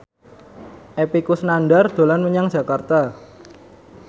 Epy Kusnandar dolan menyang Jakarta